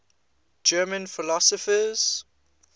german philosophers